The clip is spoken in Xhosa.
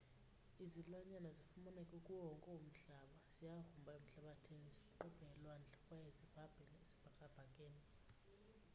izilwanyana zifumaneka kuwo wonke umhlaba. ziyagrumba emhlabathini, ziqubhe elwandle kwaye zibhabhe esibhakabhakeni